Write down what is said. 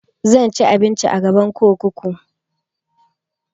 Zan ci abinci a gaban kurkuku